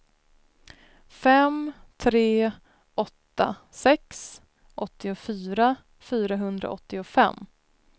fem tre åtta sex åttiofyra fyrahundraåttiofem